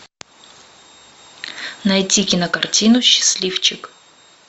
найти кинокартину счастливчик